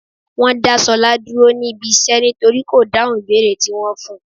Wọ́n dá Ṣọlá dúró ní ibi iṣẹ́ nítorí kò dáhùn ìbéèrè tí wón fun.